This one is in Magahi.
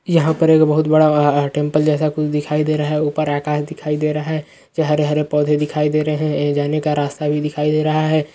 यहाँ पर एक बहुत बड़ा टेम्पल जैसा कुछ दिखाई दे रहा है ऊपर आकाश दिखाई दे रहा है जहां हरे-हरे पौधे दिखाई दे रहे हैं जाने का रास्ता भी देखे दे रहा है।